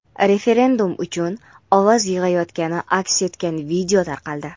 referendum uchun ovoz yig‘ayotgani aks etgan video tarqaldi.